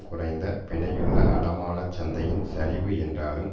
குறைந்த பிணையுள்ள அடமானச் சந்தையின் சரிவு என்றாலும்